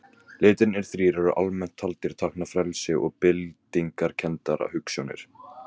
Litirnir þrír eru almennt taldir tákna frelsi og byltingarkenndar hugsjónir.